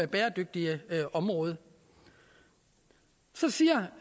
bæredygtige område så siger